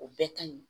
O bɛɛ ka ɲi